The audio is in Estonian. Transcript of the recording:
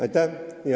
Aitäh!